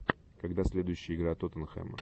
когда следующая игра тоттенхэма